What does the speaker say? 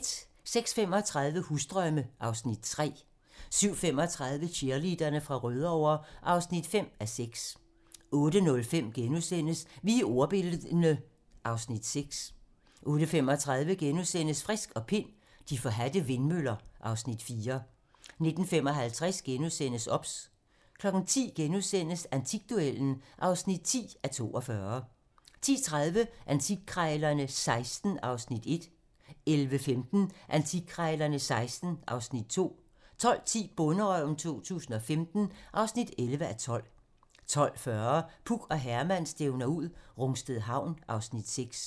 06:35: Husdrømme (Afs. 3) 07:35: Cheerleaderne fra Rødovre (5:6) 08:05: Vi er ordbildne (Afs. 6)* 08:35: Frisk og Pind: De forhadte vindmøller (Afs. 4)* 09:55: OBS * 10:00: Antikduellen (10:42)* 10:30: Antikkrejlerne XVI (Afs. 1) 11:15: Antikkrejlerne XVI (Afs. 2) 12:10: Bonderøven 2015 (11:12) 12:40: Puk og Herman stævner ud - Rungsted Havn (Afs. 6)